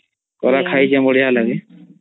କରା ଖାଇଚୀ ବଢିଆ ଲାଗେ